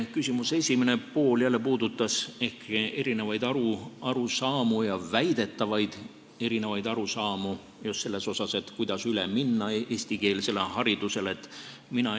Küsimuse esimene pool puudutas jälle erinevaid arusaamu, väidetavalt erinevaid arusaamu sellest, kuidas eestikeelsele haridusele üle minna.